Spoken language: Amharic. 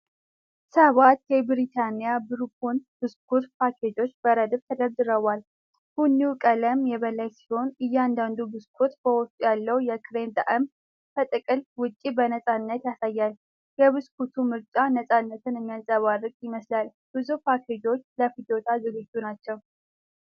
ሰባት የብሪታኒያ ቡርቦን ብስኩት ፓኬጆች በረድፍ ተደርድረዋል። ቡኒው ቀለም የበላይ ሲሆን እያንዳንዱ ብስኩት በውስጡ ያለውን የክሬም ጣዕም ከጥቅል ውጪ በነፃነት ያሳያል። የብስኩት ምርጫ ነፃነትን የሚያንጸባርቅ ይመስል ብዙ ፓኬጆች ለፍጆታ ዝግጁ ናቸው።